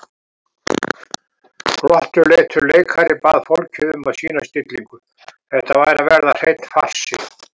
Glottuleitur leikari bað fólk um að sýna stillingu, þetta væri að verða hreinn farsi.